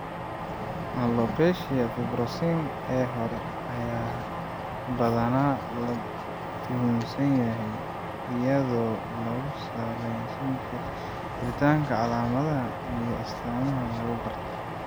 Alopecia fibrosing ee hore ayaa badanaa la tuhunsan yahay iyadoo lagu salaynayo jiritaanka calaamadaha iyo astaamaha lagu garto.